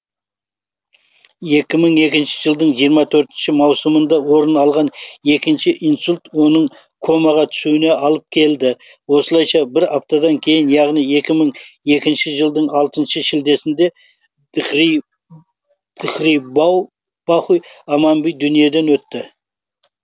екі мың екінші жылдың жиырма төртінші маусымында орын алған екінші инсульт оның комаға түсуіне алып келді осылайша бір аптадан кейін яғни екі мың екінші жылдың алтыншы шілдесінде дхирубаухай амбани дүниеден өтті